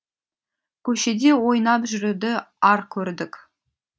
көшеде ойнап жүруді ар көрдік